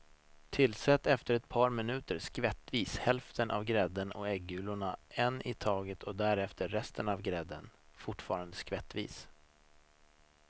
Tillsätt efter ett par minuter skvättvis hälften av grädden och äggulorna en i taget och därefter resten av grädden, fortfarande skvättvis.